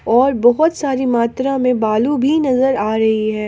और बहुत सारी मात्रा मे भालू भी नजर आ रही है।